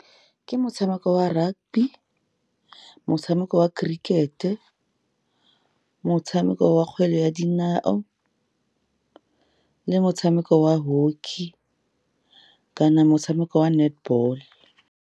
Ke motshameko wa rugby, motshameko wa cricket-e, motshameko wa kgwele ya dinao le motshameko wa hockey, kana motshameko wa netball.